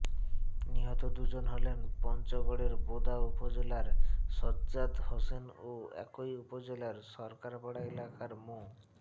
নিহত দুজন হলেন পঞ্চগড়ের বোদা উপজেলার সাজ্জাদ হোসেন ও একই উপজেলার সরকারপাড়া এলাকার মো